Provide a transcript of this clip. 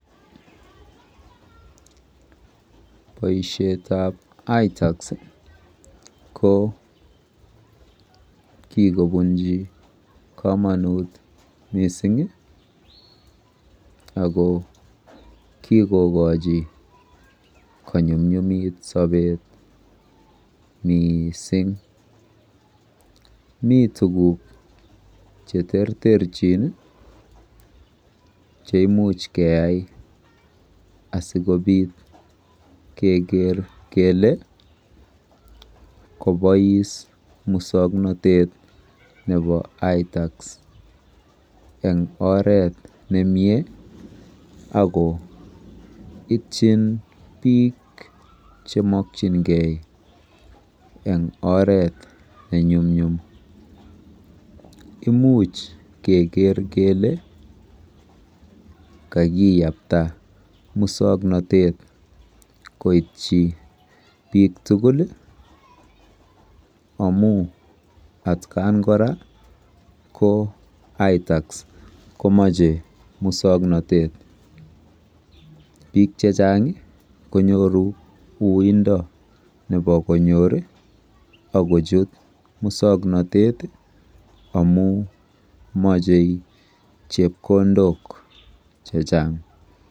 Boisietab ITAX ko kikobunji komonut mising ako kikokochi konyumnyumit sobeet miising. Mi tuguk cheterterchin cheimuch keyai asikobiit keker kele kabois muswoknotet nebo ITAX eng oret nemie ako ipchin biik chemakyingei eng oret nenyumnyum. Imuuch keker kele kakiyapta muswoknotet koitchi piik tugul amu atkan kora ko boisietab ITAX komache muswoknotet. BIik chechang konyoru uindo nebo konyoor ak kochut muswoknotet amu machei chepkondok chechang.